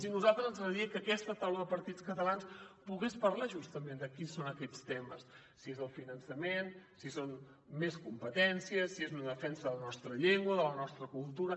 i a nosaltres ens agradaria que aquesta taula de partits catalans pogués parlar justament de quins són aquests temes si és el finançament si són més competències si és una defensa de la nostra llengua de la nostra cultura